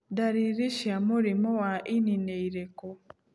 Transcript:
Dariri cia mũrimũ wa ini nĩ irĩkũ